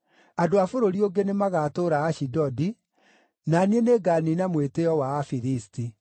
Andũ a bũrũri ũngĩ nĩmagatũũra Ashidodi, na niĩ nĩnganiina mwĩtĩĩo wa Afilisti.